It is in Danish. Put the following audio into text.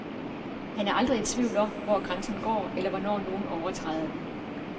Han er aldrig i tvivl om, hvor grænsen går, eller hvornår nogen overtræder den.